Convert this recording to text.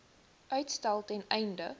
uitstel ten einde